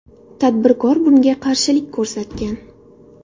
Tadbirkor bunga qarshilik ko‘rsatgan.